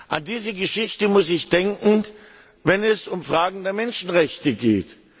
An diese Geschichte muss ich denken, wenn es um Fragen der Menschenrechte geht.